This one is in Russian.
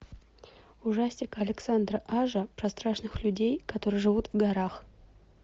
ужастик александра ажа про страшных людей которые живут в горах